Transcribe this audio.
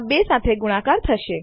આ બે સાથે ગુણાકાર થશે